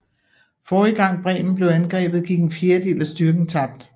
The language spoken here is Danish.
Forrige gang Bremen blev angrebet gik en fjerdedel af styrken tabt